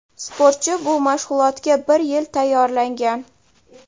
Sportchi bu mashg‘ulotga bir yil tayyorlangan.